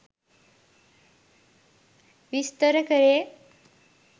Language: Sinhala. විස්තර කෙරේ